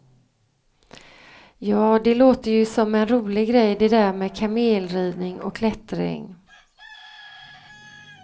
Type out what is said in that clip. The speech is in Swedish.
Ja, det låter ju som en rolig grej det där med kamelridning och klättring.